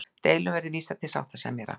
Deilum verði vísað til sáttasemjara